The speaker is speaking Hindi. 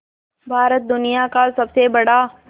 भारत दुनिया का सबसे बड़ा